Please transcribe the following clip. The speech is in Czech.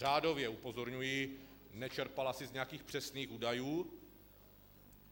Řádově, upozorňuji, nečerpala asi z nějakých přesných údajů.